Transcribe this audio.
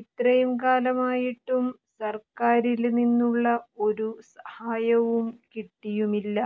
ഇത്രയും കാലമായിട്ടും സര്ക്കാരില് നിന്നുള്ള ഒരു സഹായവും കിട്ടിയുമില്ല